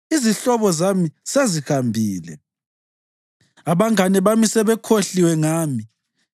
Izihlobo zami sezihambile; abangane bami sebekhohliwe ngami.